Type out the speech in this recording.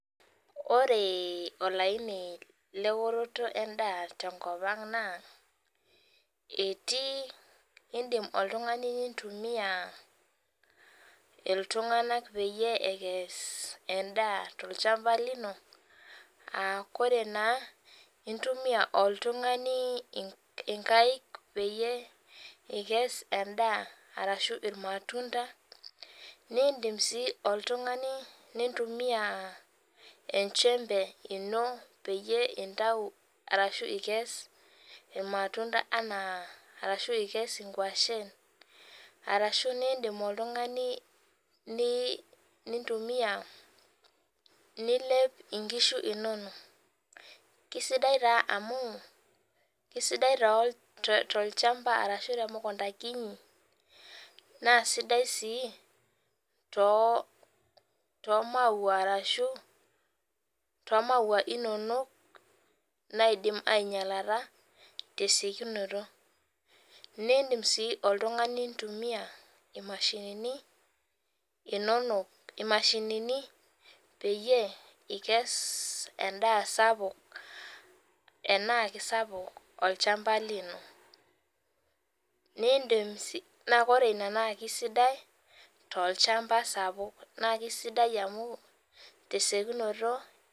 Ore olaini leoroto endaa tenkop aang naa etii indim oltungani nintumia ltunganak peyie ekes endaa tolchamba lino aa ore taa intumia oltungani nkaik peikes endaa arashu irmatunda nindim si oltungani aitumia peyie intau ashu ikes irmatunda anaa arashu ikes nkwashen ashu nindim oltungani nintumia nilep nkishu inonok kesidai amu. Kesidai tolchamba ashu temukunda kiti naasidai si to maua ashu tomaua inonok naidimbainyalata tesiokinoto nindi si oltungani aitumia imashinini peikes endaa sapuk tanaa sapuk olchamba lino nindim sii na ore ina na kisidai tolchamba sapuk na kesidai amu tesiokinoto.